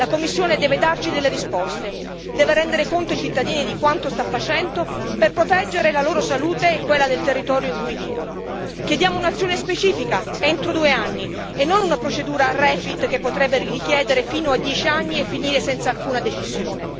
La Commissione deve darci delle risposte, deve rendere conto ai cittadini di quanto sta facendo per proteggere la loro salute e quella del territorio in cui vivono. Chiediamo un'azione specifica entro due anni e non una procedura Refit che potrebbe richiedere fino a 10 anni e finire senza alcuna decisione.